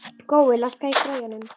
Gói, lækkaðu í græjunum.